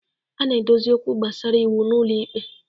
A na-edozi okwu gbasara iwu n'ụlọ ikpe.